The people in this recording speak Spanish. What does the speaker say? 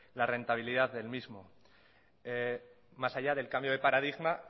la rentabilidad del mismo más allá del cambio del paradigma